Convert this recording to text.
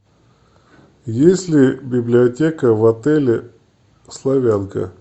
есть ли библиотека в отеле славянка